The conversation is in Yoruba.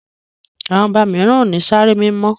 àwọn oba míràn o ní Sáré mímọ